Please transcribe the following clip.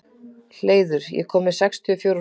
Hleiður, ég kom með sextíu og fjórar húfur!